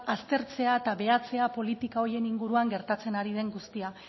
aztertzea eta behatzea politika horien inguruan gertatzen ari den guztia